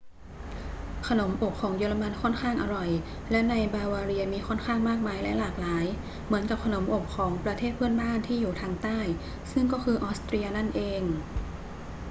ขนมอบของเยอรมันค่อนข้างอร่อย และในบาวาเรียมีค่อนข้างมากมายและหลากหลาย เหมือนกับขนมอบของประเทศเพื่อนบ้านที่อยู่ทางใต้ ซึ่งก็คือออสเตรียนั่นเอง